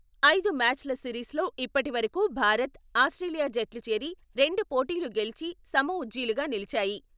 ఐదు మ్యాచ్ ల సిరీస్ లో ఇప్పటివరకూ భారత్, ఆస్ట్రేలియా జట్లు చెరి రెండు పోటీలు గెలిచి సమ ఉజ్జీలుగా నిలిచాయి.